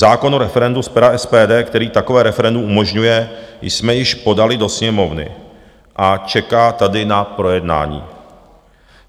Zákon o referendu z pera SPD, který takové referendum umožňuje, jsme již podali do Sněmovny a čeká tady na projednání.